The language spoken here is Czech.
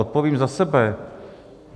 Odpovím za sebe.